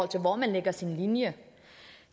til hvor man lægger sin linje